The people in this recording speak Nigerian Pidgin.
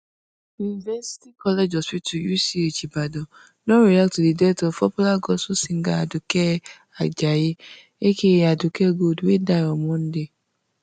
university college hospital UCH ibadan don react to di death of popular gospel singer aduke ajayi AKA aduke gold wey die on monday